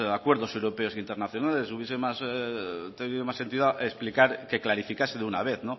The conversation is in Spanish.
acuerdos europeos internacionales hubiese tenido más sentido explicar que clarificase de una vez